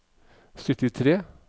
syttitre